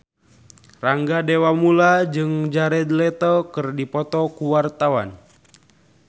Rangga Dewamoela jeung Jared Leto keur dipoto ku wartawan